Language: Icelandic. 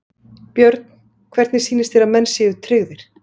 Björn: Hvernig sýnist þér að menn séu tryggðir?